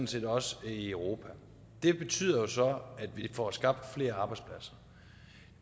set også i europa det betyder så at vi får skabt flere arbejdspladser